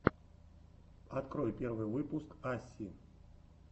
открой первый выпуск асси